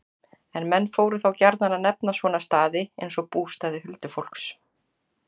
En menn fóru þá gjarnan að nefna svona staði, eins og bústaði huldufólks.